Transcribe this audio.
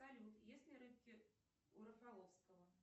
салют есть ли рыбки у рафаловского